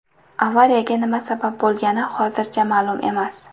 Avariyaga nima sabab bo‘lgani hozircha ma’lum emas.